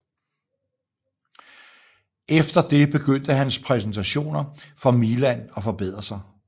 Efter det begydnte hans præstationer for Milan at forbedre sig